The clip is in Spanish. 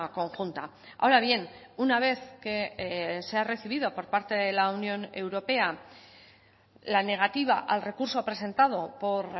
conjunta ahora bien una vez que se ha recibido por parte de la unión europea la negativa al recurso presentado por